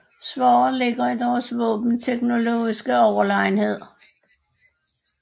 Svaret ligger i deres våbenteknologiske overlegenhed